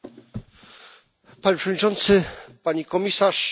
Panie Przewodniczący! Pani komisarz! Szanowni państwo!